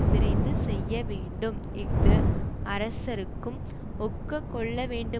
விரைந்து செய்யவேண்டும் இஃது அரசர்க்கும் ஒக்கக் கொள்ள வேண்டு